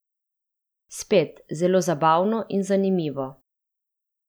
Spet, zelo zabavno in zanimivo.